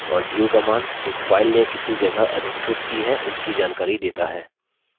और du command एक file ने कितनी जगह अधिकृत की है उसकी जानकारी देता है